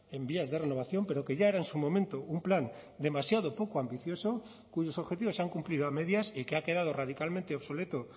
en vías de renovación pero que ya era en su momento un plan demasiado poco ambicioso cuyos objetivos se han cumplido a medias y que ha quedado radicalmente obsoleto